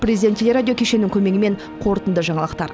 президент теле радио кешенінің көмегімен қорытынды жаңалықтар